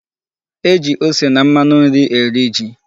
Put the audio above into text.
E ji ose na mmanu nri eri ji.